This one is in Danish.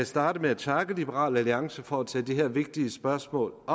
starte med at takke liberal alliance for at tage det her vigtige spørgsmål op